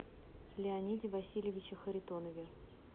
леониде васильевиче харитонове